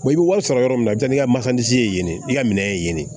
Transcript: i bɛ wari sɔrɔ yɔrɔ min na ja i ka makansisi ye i ka minɛ ye yen de